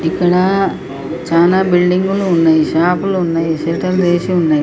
ఇక్కడ చానా బిల్డింగ్ లు ఉన్నాయ్. షాప్ లు ఉన్నాయ్. షట్టర్లు లు వేసి ఉన్నాయ్.